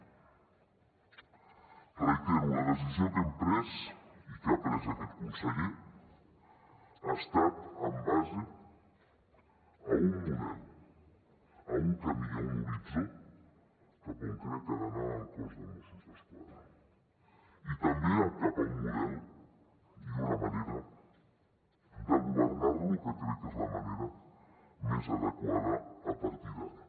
ho reitero la decisió que hem pres i que ha pres aquest conseller ha estat en base a un model a un camí i a un horitzó cap a on crec que ha d’anar el cos de mossos d’esquadra i també cap a un model i una manera de governar lo que crec que és la manera més adequada a partir d’ara